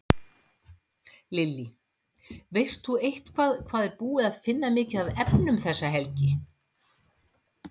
Lillý: Veist þú eitthvað hvað er búið að finna mikið af efnum þessa helgi?